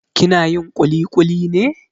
Kina yin ƙuliƙuli ne?